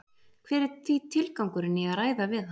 Hver er því tilgangurinn í að ræða við hann?